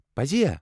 پٔزۍ ہا!؟